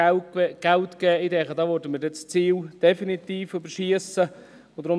Ich denke, dass wir so definitiv über das Ziel hinausschiessen würden.